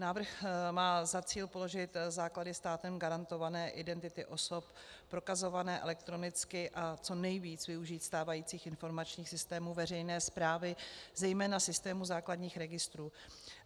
Návrh má za cíl položit základy státem garantované identity osob prokazované elektronicky a co nejvíc využít stávajících informačních systémů veřejné správy, zejména systému základních registrů.